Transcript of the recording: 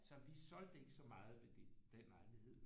Så vi solgte ikke så meget ved den lejlighed